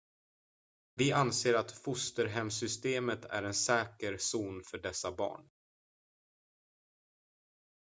vi anser att fosterhemssystemet är en säker zon för dessa barn